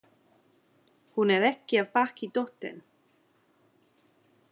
Hún er ekki af baki dottin.